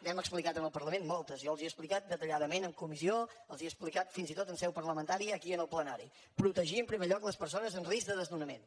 n’hem explicat al parlament moltes jo els les he explicat detalladament en comissió els les he explicat fins i tot en seu parlamentària aquí al plenari protegir en primer lloc les persones en risc de desnonament